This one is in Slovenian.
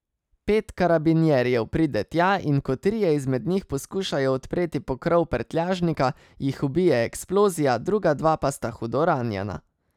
Pet karabinjerjev pride tja, in ko trije izmed njih poskušajo odpreti pokrov prtljažnika, jih ubije eksplozija, druga dva pa sta hudo ranjena.